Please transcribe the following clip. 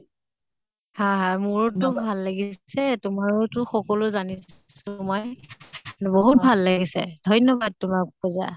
হয় হয়। মোৰোতো ভাল লাগিছে। তোমাৰো তো সকলো জানিছো মই, বহুত ভাল লাগিছে। ধন্য়বাদ তোমাক পুজা।